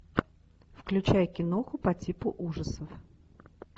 включай киноху по типу ужасов